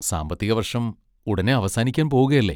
സാമ്പത്തിക വർഷം ഉടനേ അവസാനിക്കാൻ പോകുകയല്ലേ.